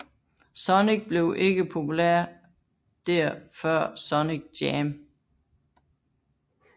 Sonic blev ikke populær der før Sonic Jam